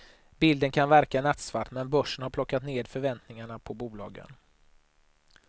Bilden kan verka nattsvart men börsen har plockat ned förväntningarna på bolagen.